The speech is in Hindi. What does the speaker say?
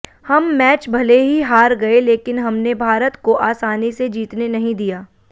हम मैच भले ही हार गए लेकिन हमने भारत को आसानी से जीतने नहीं दिया